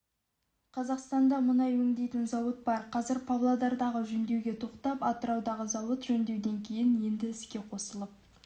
қазақстанда мұнай өңдейтін зауыт бар қазір павлодардағы жөндеуге тоқтап атыраудағы зауыт жөндеуден кейін енді іске қосылып